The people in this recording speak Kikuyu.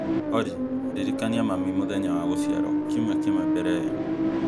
Olly ndirikania mami mũthenya wa gũciarwo kiumia kĩmwe mbere ĩyo